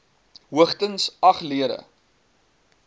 hoogstens agt lede